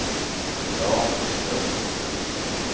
Dan Ståhl